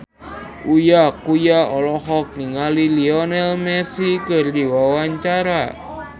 Uya Kuya olohok ningali Lionel Messi keur diwawancara